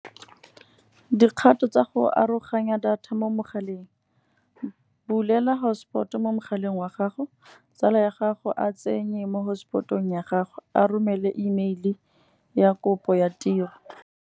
Dikgato tsa go aroganya data mo mogaleng. Bulela hotspot mo mogaleng wa gago, tsala ya gago a tsenye mo hotspot-ong ya gago, a romele email ya kopo ya tiro.